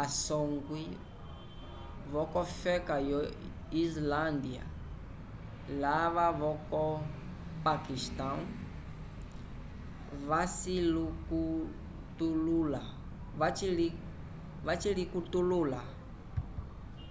a songwi vocofeka yo islandya lava voco pakistão vacilicutulula